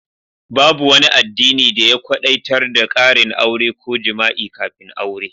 Babu wani addini da ya kwadaitar da karin aure ko jima'i kafin aure.